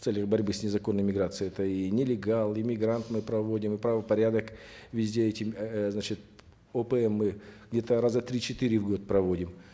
в целях борьбы с незаконной миграцией это и нелегал и мигрант мы проводим и правопорядок везде эти эээ значит опм мы где то раза три четыре в год проводим